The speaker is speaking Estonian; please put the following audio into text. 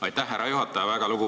Aitäh, härra juhataja!